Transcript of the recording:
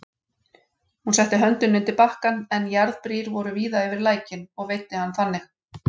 Hún setti höndina undir bakkann, en jarðbrýr voru víða yfir lækinn, og veiddi hann þannig.